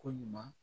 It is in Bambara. Ko ɲuman